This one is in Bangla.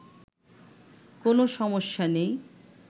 কোন সমস্যা নেই